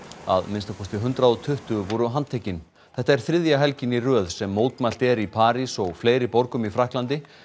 að minnsta kosti hundrað og tuttugu voru handtekin þetta er þriðja helgin í röð sem mótmælt er í París og fleiri borgum í Frakklandi